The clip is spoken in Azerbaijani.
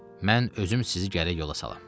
Mən özüm sizi gərək yola salam.